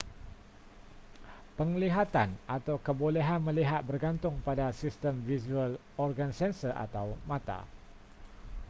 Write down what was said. penglihatan atau kebolehan melihat bergantung pada sistem visual organ sensor atau mata